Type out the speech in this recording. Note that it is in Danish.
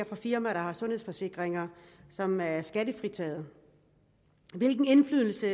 fra firmaer der har sundhedsforsikringer som er skattefritaget hvilke indflydelse